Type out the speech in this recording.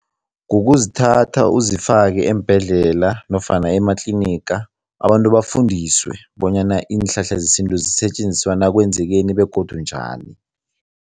Kukuzithatha uzifake eembhedlela nofana ematliniga, abantu bafundiswe bonyana iinhlahla zesintu zisetjenziswa nakwenzekeni begodu njani.